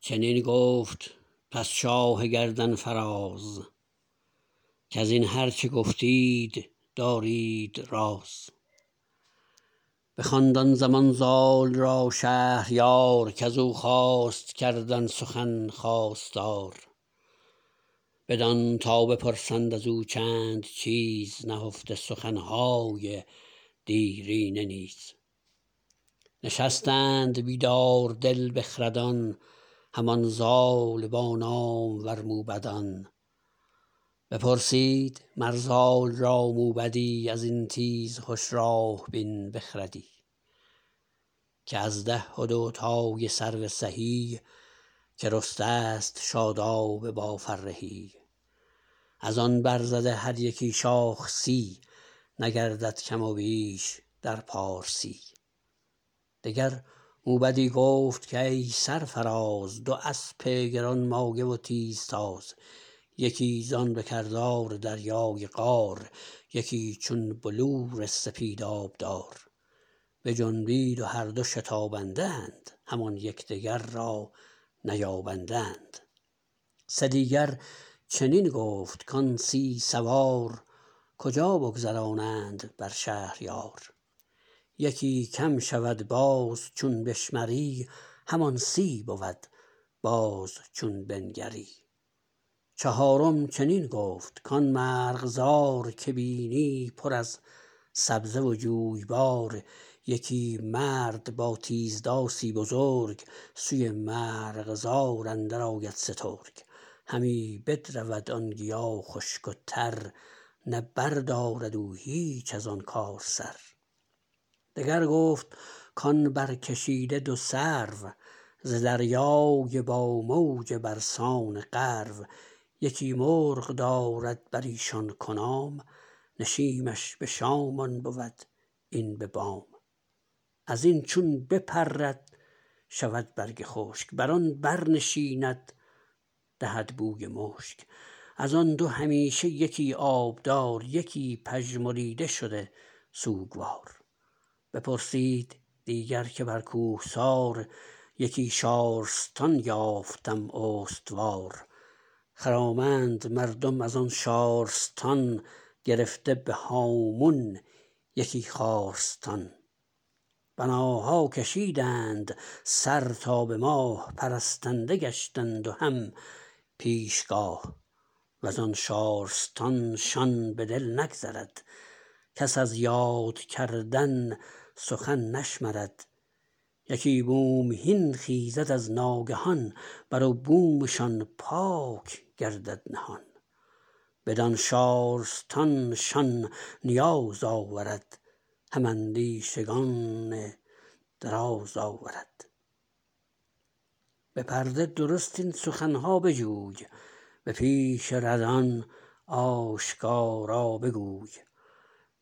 چنین گفت پس شاه گردن فراز کزین هرچه گفتید دارید راز بخواند آن زمان زال را شهریار کزو خواست کردن سخن خواستار بدان تا بپرسند ازو چند چیز نهفته سخنهای دیرینه نیز نشستند بیدار دل بخردان همان زال با نامور موبدان بپرسید مر زال را موبدی ازین تیزهش راه بین بخردی که از ده و دو تای سرو سهی که رسته ست شاداب با فرهی ازآن برزده هر یکی شاخ سی نگردد کم و بیش در پارسی دگر موبدی گفت کای سرفراز دو اسپ گرانمایه و تیزتاز یکی زان به کردار دریای قار یکی چون بلور سپید آبدار بجنبید و هر دو شتابنده اند همان یکدیگر را نیابنده اند سه دیگر چنین گفت کان سی سوار کجا بگذرانند بر شهریار یکی کم شود باز چون بشمری همان سی بود باز چون بنگری چهارم چنین گفت کان مرغزار که بینی پر از سبزه و جویبار یکی مرد با تیز داسی بزرگ سوی مرغزار اندر آید سترگ همی بدرود آن گیا خشک و تر نه بردارد او هیچ ازآن کار سر دگر گفت کان برکشیده دو سرو ز دریای با موج برسان غرو یکی مرغ دارد بریشان کنام نشیمش به شام آن بود این به بام ازین چون بپرد شود برگ خشک برآن بر نشیند دهد بوی مشک ازآن دو همیشه یکی آبدار یکی پژمریده شده سوگوار بپرسید دیگر که بر کوهسار یکی شارستان یافتم استوار خرامند مردم ازان شارستان گرفته به هامون یکی خارستان بناها کشیدند سر تا به ماه پرستنده گشتند و هم پیشگاه وزآن شارستان شان به دل نگذرد کس از یاد کردن سخن نشمرد یکی بومهین خیزد از ناگهان بر و بومشان پاک گردد نهان بدان شارستان شان نیاز آورد هم اندیشگان دراز آورد به پرده درست این سخنها بجوی به پیش ردان آشکارا بگوی